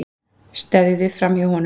Steðjuðu framhjá honum.